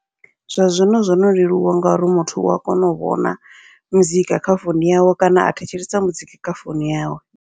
Zwa zwino zwono leluwa, ngauri muthu ua kona u vhona muzika kha founu yawe kana a thetshelesa muzika kha founu yawe.